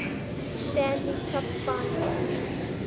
stanley cup finals